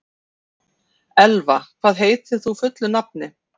Elva, hvað heitir þú fullu nafni?